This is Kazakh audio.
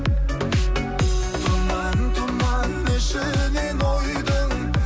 тұман тұман ішінен ойдың